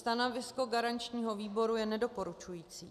Stanovisko garančního výboru je nedoporučující.